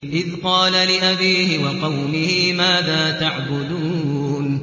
إِذْ قَالَ لِأَبِيهِ وَقَوْمِهِ مَاذَا تَعْبُدُونَ